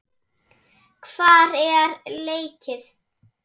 Hvar er leikið?